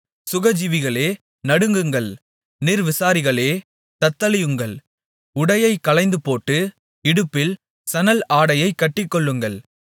சுகஜீவிகளே நடுங்குங்கள் நிர்விசாரிகளே தத்தளியுங்கள் உடையை களைந்துபோட்டு இடுப்பில் சணல் ஆடையைக் கட்டிக்கொள்ளுங்கள்